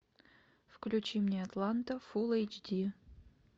включи мне атланта фул эйч ди